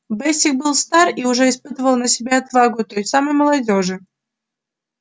бэсик был стар и уже испытал на себе отвагу той самой молодёжи